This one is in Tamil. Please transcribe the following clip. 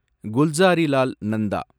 குல்சாரிலால் நந்தா